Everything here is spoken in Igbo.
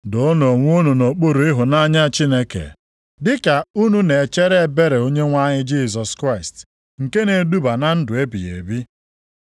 Doonụ onwe unu nʼokpuru ịhụnanya Chineke, dịka unu na-echere ebere Onyenwe anyị Jisọs Kraịst nke na-eduba na ndụ ebighị ebi.